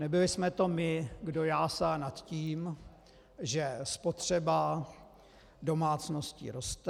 Nebyli jsme to my, kdo jásal nad tím, že spotřeba domácností roste.